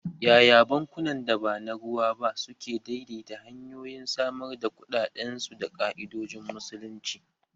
Yaya bankunan da ba na ruwa ba suke daidaita hanyoyin samar da kuɗaɗen su da ka'idojin Musulunci?